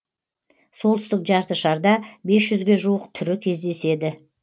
солтүстік жарты шарда бес жүзге жуық түрі кездеседі